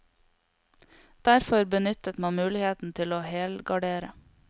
Derfor benyttet man muligheten til å helgardere.